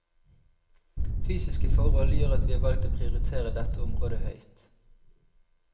Fysiske forhold gjør at vi har valgt å prioritere dette området høyt.